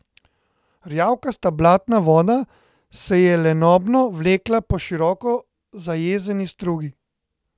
Rjavkasta blatna voda se je lenobno vlekla po široko zajezeni strugi.